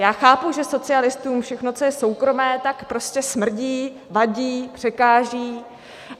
já chápu, že socialistům všechno, co je soukromé, tak prostě smrdí, vadí, překáží.